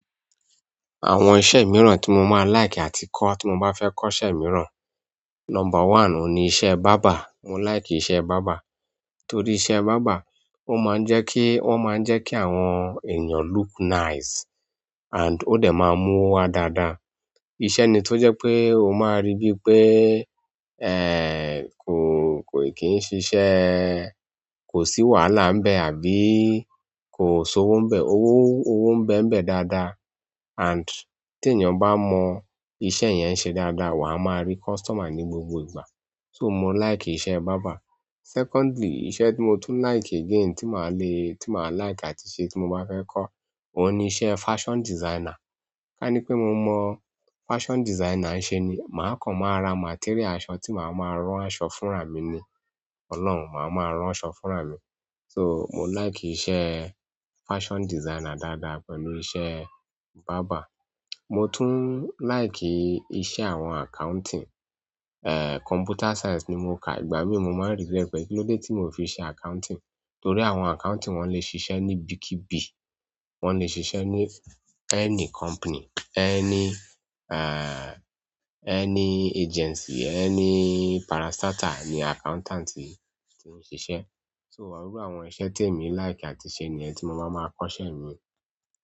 Àwọn iṣẹ́ mìíràn tí mo máa like àti kọ́ tí mo bá fẹ́ kọ́ṣẹ́ mìíràn. Number one òun ni iṣẹ́ barber, mo like iṣẹ́ barber. Nítorí iṣẹ́ barber ó máa ń jẹ́ kí, ó máa ń jẹ́ kí àwọn ènìyàn look nice and ó dẹ̀ máa n mú owo wa dáadáa. Iṣẹ́ ni tó jẹ́ pé o máa rí bí pé, kò, kò kì í ṣiṣẹ́, kò sí wàhálà ń bẹ àbí ko sowo nbe, owo nbe níbẹ̀ daada and ti eeyan ba mo iṣẹ́ yen se daada wa ma ri customer ni gbogbo ìgbà. So mo like iṣẹ́ barber. Secondly, iṣẹ́ tí mo tún like again tí màá le, tí màá like àti ṣe tí mo bá fẹ́ kọ́ òun ni iṣẹ́ fashion designer. Ká ní pé mo mọ fashion designer se ni, ma kan ma ra materials aṣọ ti maa ma ran aṣọ fúnra mi ni Ọlọ́run, màá máa rán aṣọ fúnra mi. So mo like iṣẹ́ fashion designer dáadáa pẹ̀lú iṣẹ́ barber. Mo tún like iṣẹ́ àwọn accounting. Computer science ni mo ka ìgbà mí mo máa regret pé kí ló dé tí mio fi ṣe accounting? Torí àwọn accounting wọ́n lè ṣiṣẹ́ ní bíkíbi. Wọ́n lè ṣiṣẹ́ ní any company, any, any agency, any parastatal ni accountant ti, ti ń ṣiṣẹ́. So irun àwọn iṣẹ́ tí èmi like àti ṣe ni ẹni tí mo máa máa kọ́ṣẹ́ mìíràn.